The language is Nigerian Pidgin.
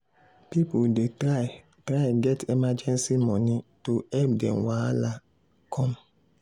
people dey try try get emergency money to help dem when wahala come.